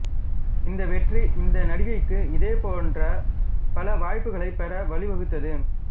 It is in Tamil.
இந்த வெற்றி இந்த நடிகைக்கு இதே போன்ற பல வாய்ப்புகளைப் பெற வழிவகுத்தது